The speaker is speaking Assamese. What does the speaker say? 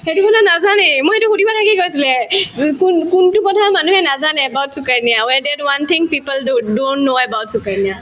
সেইটো কোনেও নাজানেই মোৰ সেইটো সুধিব থাকিয়ে গৈছিলে যো‍কোন কোনটো কথা মানুহে নাজানে about Sukanya thing people do don't know about Sukanya